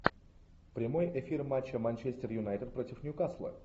прямой эфир матча манчестер юнайтед против ньюкасла